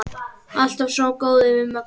Alltaf svo góður við Möggu.